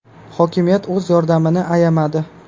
Hokimiyat o‘z yordamini ayamadi.